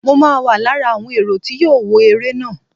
Mo ma wà lára àwọn èrò tí yóò wọ eré náà.